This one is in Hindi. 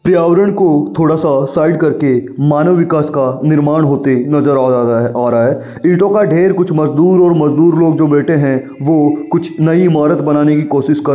पर्यावरण को थोड़ा सा साइड करके मानव विकास का निर्माण होते नजर आ आ रहा है आ रहा है। ईटों का ढेर कुछ मजदूर और मजदूर लोग जो बेठे हैं वो कुछ नयी इमारत बनाने की कोशिश क --